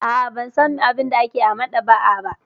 A'a, ban san abin da ake yi a maɗaba'a ba.